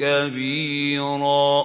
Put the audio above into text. كَبِيرًا